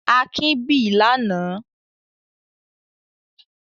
Akin bì lánàá?